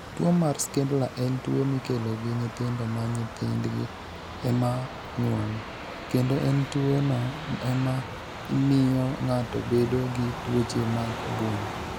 Tuwo mar Schindler en tuwo mikelo gi nyithindo ma nyithindgi e ma nyuolo, kendo en tuwono ema miyo ng'ato bedo gi tuoche mag obwongo.